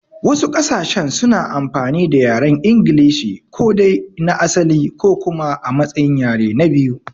Wasu ƙasashen suna amfani da yaren inglishi, ko dai na asali ko kuma a matsayin yare na biyu.